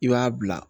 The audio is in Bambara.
I b'a bila